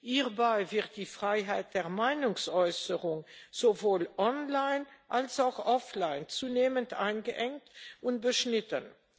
Hierbei wird die Freiheit der Meinungsäußerung sowohl online als auch offline zunehmend eingeengt und beschnitten.